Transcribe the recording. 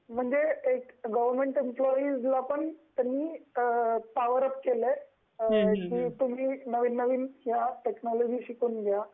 म्हणजे गवर्नमेंट एम्प्लोयीला पण त्यांनी एक पॉवर अप केलय, तुम्ही या नविन नविन टेक्नोलॉजी शिकून घ्या.